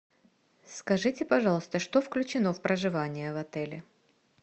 скажите пожалуйста что включено в проживание в отеле